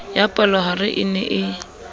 ya palohare e ne e